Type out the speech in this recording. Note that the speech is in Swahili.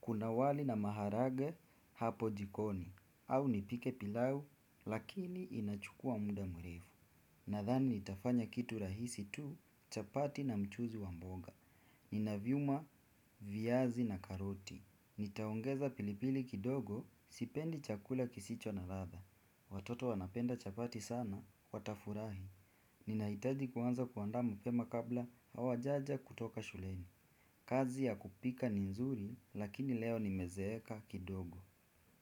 Kuna wali na maharage hapo jikoni. Au nipike pilau, lakini inachukua muda mrefu. Nadhani nitafanya kitu rahisi tu chapati na mchuzi wa mboga. Nina vyuma, viazi na karoti. Nitaongeza pilipili kidogo, sipendi chakula kisicho na ladha. Watoto wanapenda chapati sana, watafurahi. Ninahitaji kuanza kuandaa mapema kabla hawajaja kutoka shuleni. Kazi ya kupika ni nzuri lakini leo nimezeeka kidogo.